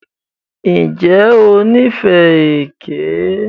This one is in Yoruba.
Ǹjẹ́ o níìfẹ́ ẹkẹ mímù?